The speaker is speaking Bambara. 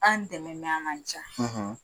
An dɛmɛ a man diya.